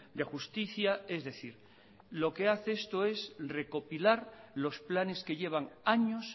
de justicia es decir lo que hace esto es recopilar los planes que llevan años